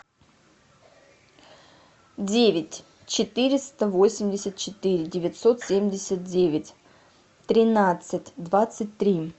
девять четыреста восемьдесят четыре девятьсот семьдесят девять тринадцать двадцать три